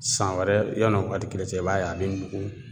San wɛrɛ yanni o waati kelen cɛ i b'a ye a bɛ nugu